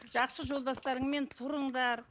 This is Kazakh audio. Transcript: жақсы жолдастарыңмен тұрыңдар